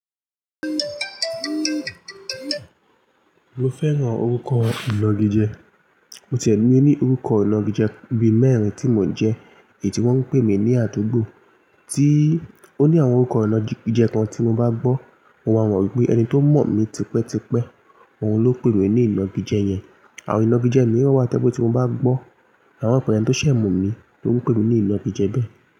Mo fẹ́ran orúkọ ìnagijẹ. Mo tẹ̀ mi ní orúkọ ìnagijẹ bí mẹ́rin tí mo jẹ́ èyí tí wọ́n ń pè mí ní àdúgbò. Tí ó ní àwọn orúkọ ìnagijẹ kan tí mo bá gbọ́, mo máa mọ̀ wípé ẹni tó mọ̀ mí tipẹ́ tipẹ́, òun ló pè mí ní ìnagijẹ yẹn. Àwọn ìnagijẹ mi wá tẹ́pẹ̀ tí mo bá gbọ́. Mà mò pe ènì tó ṣẹ̀ mọ̀ mí ló ń pè mí ní ìnagijẹ bẹ́ẹ̀